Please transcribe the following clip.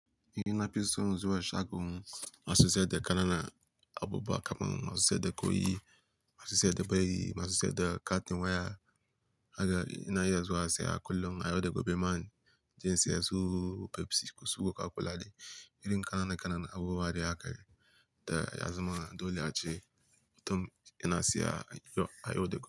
Nafi son zuwa shagon masu sayar da ƙananan abubuwa kaman masu sayar da ƙwai, masu sayar da biredi, masu sayar da katin waya. Haka ina iya zuwa saya kullum. Ayau daga be man, inje in siyan su Pepsi ko su Coca-Cola ne. Irin kayan nan duka abubuwa da aka yi da azumana dole a je. Mutum yana siya a yau da.